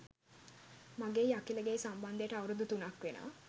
මගෙයි අකිලගෙයි සම්බන්ධයට අවුරුදු තුනක් වෙනවා.